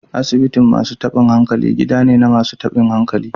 Asibitin masu tabin hankali gida ne na masu tabin hankali.